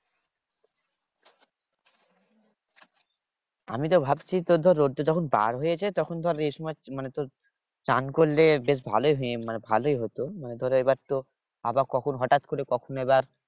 আমিতো ভাবছি তোর ধর রোদটা যখন বার হয়েছে তখন ধর এ সময় মানে তোর চান করলে বেশ ভালোই হতো তোর এইবার তো আবহাওয়া কখন হঠাৎ করে কখন আবার